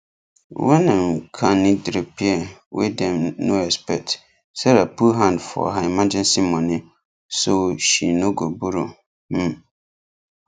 wen um car need repair wey dem no expect sarah put hand for her emergency money so she no go borrow um